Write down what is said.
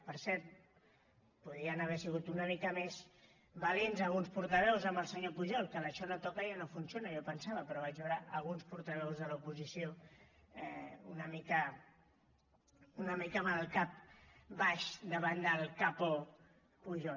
per cert podien haver sigut una mica més valents alguns portaveus amb el senyor pujol que l’ això no toca ja no funciona jo pensava però vaig veure alguns portaveus de l’oposició una mica amb el cap baix davant del capo pujol